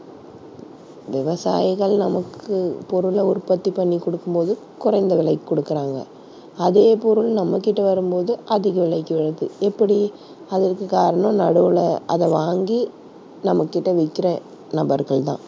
விவசாயிகள் நமக்குப் பொருளை உற்பத்தி பண்ணி கொடுக்கும்போது குறைந்த விலைக்குக் கொடுக்குறாங்க. அதே பொருள் நம்ம கிட்ட வரும்போது அதிக விலைக்கு வருது, எப்படி? அதற்குக் காரணம் நடுவுல அதை வாங்கி நம்ம கிட்ட விற்கிற நபர்கள் தான்.